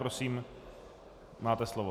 Prosím, máte slovo.